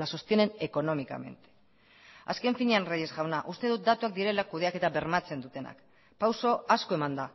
la sostienen económicamente azken finean reyes jauna uste dut datuak direla kudeaketa bermatzen dutenak pauso asko eman da